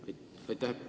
Aitäh!